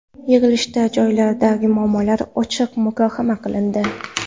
Yig‘ilishda joylardagi muammolar ochiq muhokama qilindi.